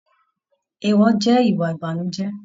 Eewọ jẹ ìwà ìbànújẹ.